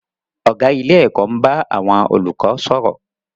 Ọ̀gá ilé-ẹ̀kọ́ ń bá àwọn olùkọ́ sọ̀rọ̀.